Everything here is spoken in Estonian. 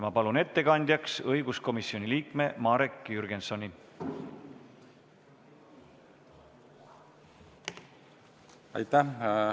Ma palun ettekandjaks õiguskomisjoni liikme Marek Jürgensoni!